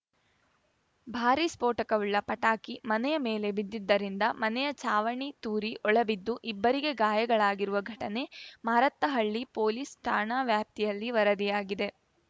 ಭಾರೀ ಸ್ಫೋಟಕವುಳ್ಳ ಪಟಾಕಿ ಮನೆಯ ಮೇಲೆ ಬಿದ್ದಿದ್ದರಿಂದ ಮನೆಯ ಚಾವಣಿ ತೂರಿ ಒಳಬಿದ್ದು ಇಬ್ಬರಿಗೆ ಗಾಯಗಳಾಗಿರುವ ಘಟನೆ ಮಾರತ್ತಹಳ್ಳಿ ಪೊಲೀಸ್‌ ಠಾಣಾ ವ್ಯಾಪ್ತಿಯಲ್ಲಿ ವರದಿಯಾಗಿದೆ